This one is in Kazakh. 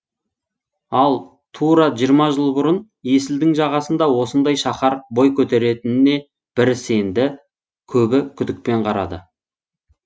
ал тура жиырма жыл бұрын есілдің жағасында осындай шаһар бой көтереріне бірі сенді көбі күдікпен қарады